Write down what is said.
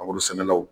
Mangoro sɛnɛlaw